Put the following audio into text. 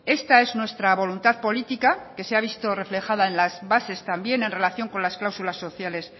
esta es nuestra voluntad política que se ha visto reflejada en las bases también en relación con las clausulas sociales